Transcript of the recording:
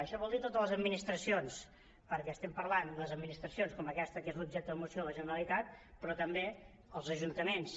això vol dir totes les administracions perquè estem parlant les administracions com aquesta que és l’objecte de la moció de la generalitat però també els ajuntaments